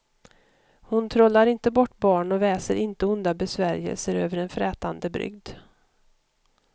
Hon trollar inte bort barn och väser inte onda besvärjelser över en frätande brygd.